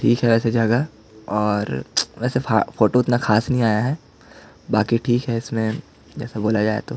ठीक हैं अइसे जगह और फार वैसे फोटो उतना खास नहीं आया है बाकी ठीक है इसमें जैसा बोला जाये तो--